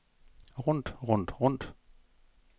rundt rundt rundt